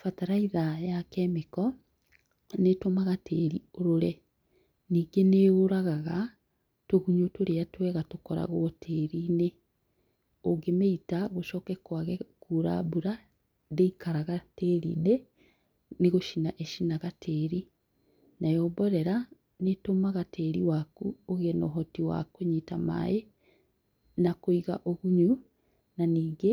Bataraitha ya kemiko nĩĩtũmaga tĩri ũrũre, ningĩ nĩyũragaga tũgunyo tũrĩa twega tũkoragwo tĩrinĩ ũngĩmĩita gũcoke kwage kura ndĩikaraga tĩrinĩ nĩ gũcina ĩcinaga tĩri. Nayo mborera nĩtũmaga tĩri waku ũgĩe na ũhoti wa kũnyita maaĩ na kũiga ũgunyu na ningĩ